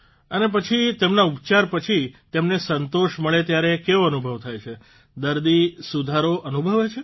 અને પછી તેમના ઉપચાર પછી તેમને સંતોષ મળે ત્યારે કેવો અનુભવ થાય છે દર્દી સુધારો અનુભવે છે